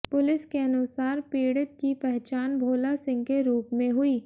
police के अनुसार पीडि़त की पहचान भोला सिंह के रूप में हुई